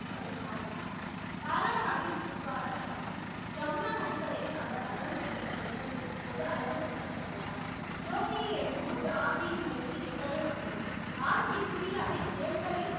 முப்பதில் காலமானார் பாலா சாகிப் உத்வாரா சாகிப் ஜமுனா நதிகரையில் அவர் தகணம் செய்யப்பட்ட இடத்தில் இப்போது அழகுப்படுத்த பட்டுள்ளார் ஜோதியை எடுக்கும் போது ஆப் ஜியின் வயது எத்தனை ஆண்டுகள்? ஆப்ஜி குரியாவை இரண்டரை